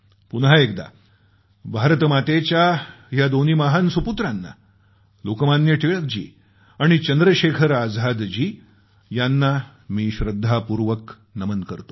पुन्हा एकदा भारत मातेच्या या दोन्ही महान सुपुत्रांना लोकमान्य टिळक जी आणि चंद्रशेखर आझादजी यांना मी श्रद्धापूर्वक नमन करतो